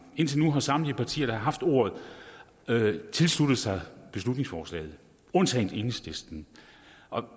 indtil nu har samtlige partier der har haft ordet tilsluttet sig beslutningsforslaget undtagen enhedslisten